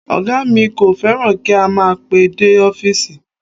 Ọ̀gá mi kò fẹ́ràn kí a máa pẹ́ dé ọfísì